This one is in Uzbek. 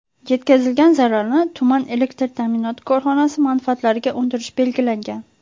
Yetkazilgan zararni tuman elektr ta’minoti korxonasi manfaatlariga undirish belgilangan.